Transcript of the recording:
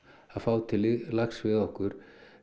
að fá til lags við okkur